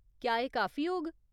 क्या एह् काफी होग ?